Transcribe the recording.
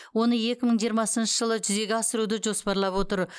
оны екі мың жиырмасыншы жылы жүзеге асыруды жоспарлап отыр